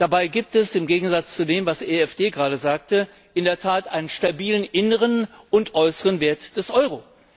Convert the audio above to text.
Dabei gibt es im Gegensatz zu dem, was die EFD gerade sagte in der Tat einen stabilen inneren und äußeren Wert des Euro.